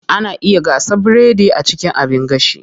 Ana iya gasa biredi a cikin abin gashi.